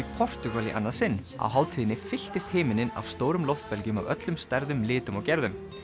í Portúgal í annað sinn á hátíðinni fylltist himinninn af stórum af öllum stærðum litum og gerðum